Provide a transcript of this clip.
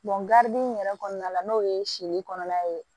in yɛrɛ kɔnɔna la n'o ye siri kɔnɔna ye